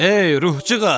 Ey ruhcuğaz!